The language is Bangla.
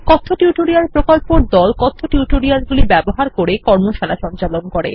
কথ্য টিউটোরিয়াল প্রকল্প দল কথ্য টিউটোরিয়াল গুলি ব্যবহার করে কর্মশালা সঞ্চালন করে